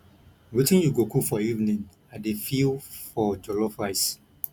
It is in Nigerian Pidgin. wetin you go cook for evening i dey feel for jollof rice